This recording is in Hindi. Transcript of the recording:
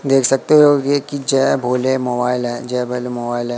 देख सकते होगे कि जय भोले मोबाइल है जय भेले मोबाइल है।